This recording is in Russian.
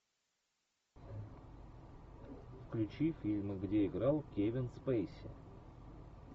включи фильмы где играл кевин спейси